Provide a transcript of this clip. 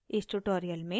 इस tutorial में